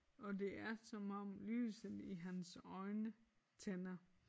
Og det er som om lyset i hans øjne tænder